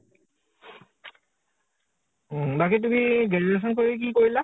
বাকী তুমি graduation কৰি কি কৰিলা?